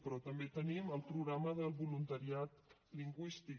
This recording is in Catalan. però també tenim el programa del voluntariat lingüístic